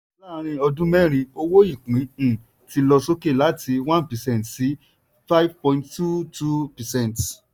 láàárín ọdún mẹ́rin owó ìpín um ti lọ sókè láti one percent sí five point two two percent